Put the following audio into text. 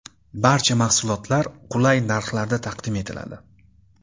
Barcha mahsulotlar qulay narxlarda taqdim etiladi.